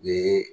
U ye